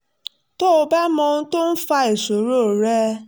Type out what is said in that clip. tó bá mọ ohun tó ń fa ìṣòro rẹ̀